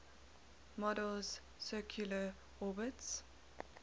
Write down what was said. model's circular orbits